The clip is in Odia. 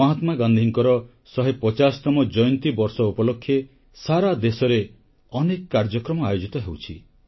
ମହାତ୍ମାଗାନ୍ଧୀଙ୍କର 150 ତମ ଜୟନ୍ତୀ ବର୍ଷ ଉପଲକ୍ଷେ ସାରା ଦେଶରେ ଅନେକ କାର୍ଯ୍ୟକ୍ରମ ଆୟୋଜିତ ହେଉଛି